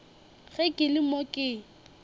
ge ke le mo ke